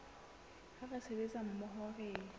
ha re sebetsa mmoho re